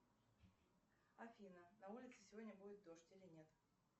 афина на улице сегодня будет дождь или нет